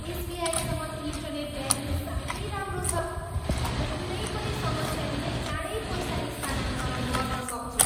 एसबिआईसँग internet banking साह्रै राम्रो छ। म कुनै पनि समस्या बिनै चाँडै पैसा स्थानान्तरण गर्न सक्छु।